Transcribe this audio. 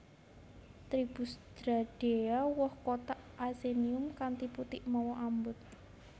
Tribus Dryadeae Woh kothak achenium kanthi putik mawa ambut